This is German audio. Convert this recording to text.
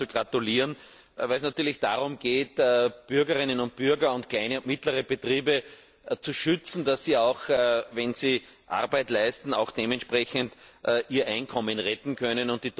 Ich möchte dazu gratulieren, weil es natürlich darum geht, Bürgerinnen und Bürger und kleine und mittlere Betriebe zu schützen, sodass sie, wenn sie Arbeit leisten, auch dementsprechend ihr Einkommen retten können.